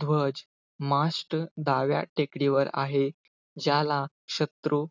ध्वजमाश्ट, डाव्या टेकडीवर आहे. ज्याला शत्रू,